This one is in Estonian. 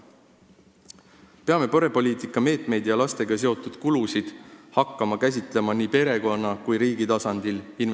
Peame perepoliitika meetmeid ja lastega seotud kulusid hakkama käsitlema investeeringuna nii perekonna kui riigi tasandil.